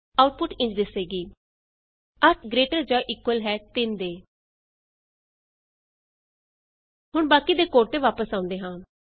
output ਇੰਝ ਦਿਸੇਗੀ160 8 greater ਜਾਂ ਇਕੁਅਲ ਹੈ 3 ਦੇ 8 is greater than or equal to 3 ਹੁਣ ਬਾਕੀ ਦੇ ਕੋਡ ਤੇ ਵਾਪਸ ਆਉਂਦੇ ਹਾਂ